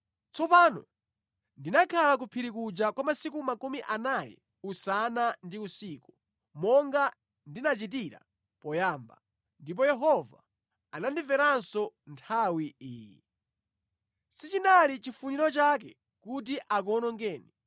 Tsopano ndinakhala ku phiri kuja kwa masiku makumi anayi usana ndi usiku monga ndinachitira poyamba, ndipo Yehova anandimveranso nthawi iyi. Sichinali chifuniro chake kuti akuwonongeni.